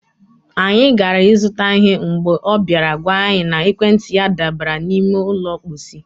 anyị gara ịzụta ihe mgbe ọ bịara gwa anyị na ekwentị ya dabara n'ime ụlọ mkposi.